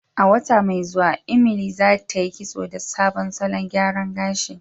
A wata mai zuwa, Emily zatayi kitso da sabon salon gyaran gashi.